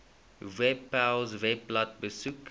webpals webblad besoek